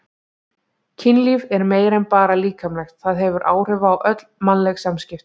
Kynlíf er meira en bara líkamlegt, það hefur áhrif á öll mannleg samskipti.